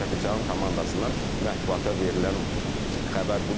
Karapetyanın komandasından mətbuata verilən xəbər budur.